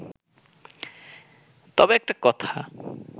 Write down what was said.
তবে একটা কথা